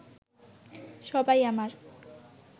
সবাই আমার